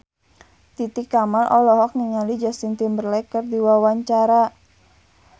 Titi Kamal olohok ningali Justin Timberlake keur diwawancara